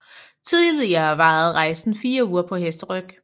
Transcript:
Tidligere varede rejsen 4 uger på hesteryg